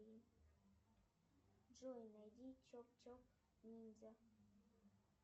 джой найди чоп чоп ниндзя